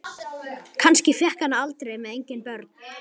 Kannski fékk hann það aldrei með eigin börn.